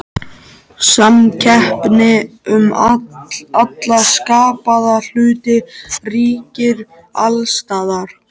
Samkeppni um alla skapaða hluti ríkir alls staðar.